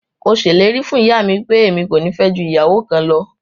Mo sẹlẹ̀rì fún iyàmi pẹ̀, ẹ̀mi kò ní fẹ́ jù iyàwọ kàn lọ.